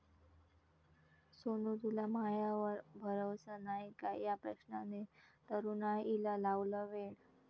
सोनु तुला मायावर भरोसा नाय का?' या प्रश्नाने तरुणाईला लावलं वेड!